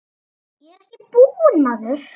Ég er ekki búinn maður!